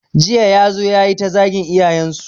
Jiya ya zo ya yi ta zagin iyayensu.